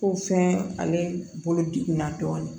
Ko fɛn ale bolo degunna dɔɔnin